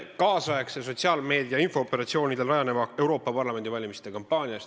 Palju õnne nüüdisaegse, sotsiaalmeedia infooperatsioonidel rajaneva Euroopa Parlamendi valimiskampaania eest!